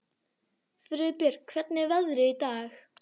Friðbjörg, hvernig er veðrið í dag?